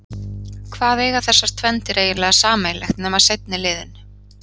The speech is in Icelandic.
Hvað eiga þessar tvenndir eiginlega sameiginlegt nema seinni liðinn?